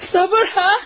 Sabır ha!